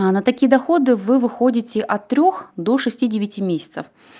она такие доходы вы выходите от трёх до шести девяти месяцев